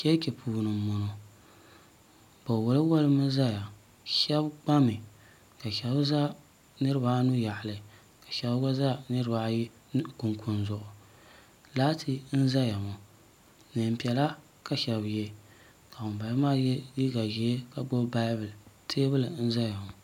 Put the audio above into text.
chichi puuni n bɔŋɔ be wali wali mi zaya shɛbi gba mi ka be za niribaanu yaɣili ka shɛb niribaayi za kunikunizuɣ' laati n zaya ŋɔ nɛnpiɛla ka shɛbi yɛ ka ŋɔ ba yɛ liga ʒiɛ ka gbabi bayibuli tɛbuli n zaya ŋɔ